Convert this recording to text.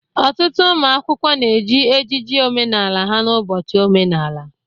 Ọtụtụ ụmụ akwụkwọ na-eji ejiji omenala ha n'ụbọchị omenala.